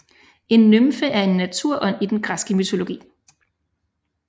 En nymfe er en naturånd i den græske mytologi